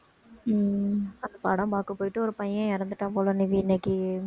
உம் அந்த படம் பாக்க போயிட்டு ஒரு பையன் இறந்துட்டான் போல நிவி இன்னைக்கு